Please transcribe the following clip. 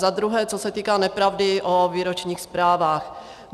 Za druhé, co se týká nepravdy o výročních zprávách.